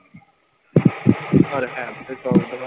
ਪਰ ਹੈ ਵੀ ਤੇ ਸੋ ਗੱਜ।